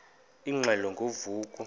ingxelo ngo vuko